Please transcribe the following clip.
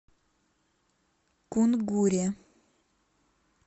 кунгуре